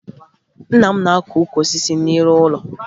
Nna m na-akụ ukwu osisi n'ihu ụlọ